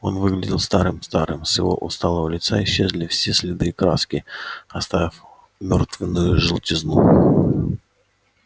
он выглядел старым-старым с его усталого лица исчезли все следы краски оставив мёртвенную желтизну